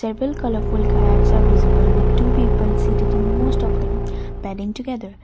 a full colourful acts are visible with two people sitted in most of them padding together.